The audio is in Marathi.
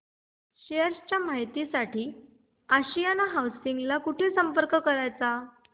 शेअर च्या माहिती साठी आशियाना हाऊसिंग ला कुठे संपर्क करायचा